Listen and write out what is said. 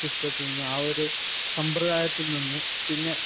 സിസ്റ്റത്തില്‍ നിന്നു, ആ ഒരു സമ്പ്രദായത്തില്‍ നിന്നു